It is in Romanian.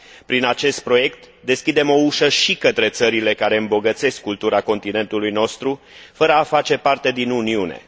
Prin acest proiect, deschidem o ușă și către țările care îmbogățesc cultura continentului nostru fără a face parte din Uniune.